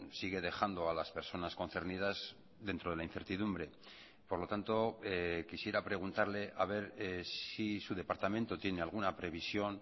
sigue dejando a las personas concernidas dentro de la incertidumbre por lo tanto quisiera preguntarle a ver si su departamento tiene alguna previsión